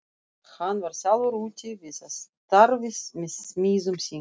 Hann var sjálfur úti við að starfi með smiðum sínum.